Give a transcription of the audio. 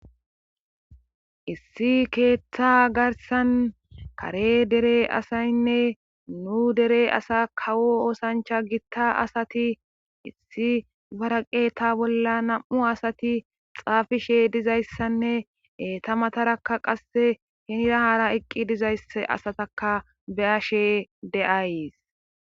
Issi keetta garssan kare dere asaynne nu dere asaa kawo oosanchcha gitta asati issi hara qeeta bolla na7u asati xaafishe dizayssanne eeta mataraka qasse hiira haara eqqi dizzysse asatakka be7ashe de7ays.